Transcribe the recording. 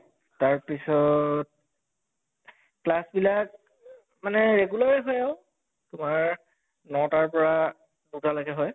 তাৰ পিছত class বিলাক মানে regular য়ে হয় আৰু তোমৰ নৌটাৰ পৰা দুটা লৈকে হয়